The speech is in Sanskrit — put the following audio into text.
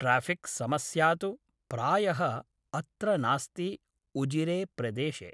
ट्राफिक् समस्या तु प्रायः अत्र नास्ति उजिरे प्रदेशे